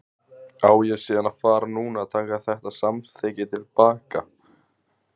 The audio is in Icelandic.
Á ég síðan að fara núna að taka þetta samþykki til baka?